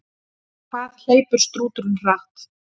Hvað hleypur strúturinn hratt?